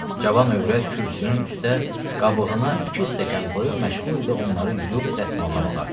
Cavan övrət kürsünün üstdə qabığına iki stəkan qoyub məşğul idi onları yuyub dəsmallamağa.